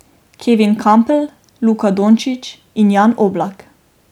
Kevin Kampl, Luka Dončić in Jan Oblak.